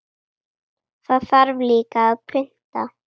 Það þarf líka að punta.